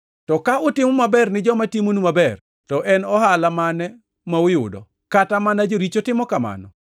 To ka utimo maber ni joma timonu maber, to en ohala mane ma uyudo? Kata mana joricho timo kamano.